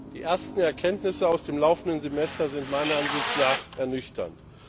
Die ersten Erkenntnisse aus dem laufenden Semester sind meiner Ansicht nach ernüchternd.